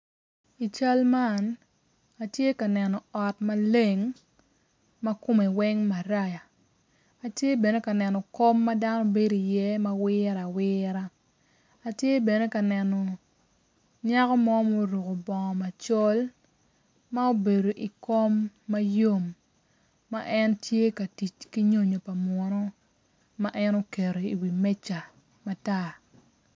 I cal man atye ka neno ot ma leng ma kome weng maraya atye bene ka neno kom ama dano bedo iye ma kome weng wire awira atye bene ka neno nyako mo ma oruko bongo macol ma obedo i kkom ma yom ma en tye ka tic ki nyonyo pa munu ma en oketo iwi meja matar.